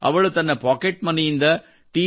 ಅವಳು ತನ್ನ ಪಾಕೆಟ್ ಮನಿಯಿಂದ ಟಿ